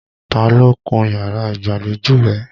Ta ló kun yàrá ìgbàlejò rẹ?